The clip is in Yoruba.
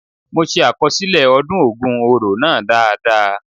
The ogun oro festival was well recorded by me.